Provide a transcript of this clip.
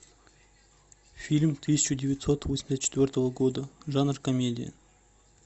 фильм тысяча девятьсот восемьдесят четвертого года жанр комедия